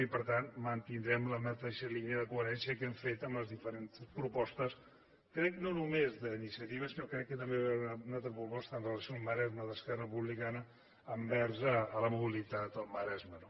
i per tant mantindrem la mateixa línia de coherència que hem fet amb les diferents propostes crec que no només d’iniciativa sinó que crec que també hi va haver una altra proposta amb relació al maresme d’esquerra republicana envers la mobilitat al maresme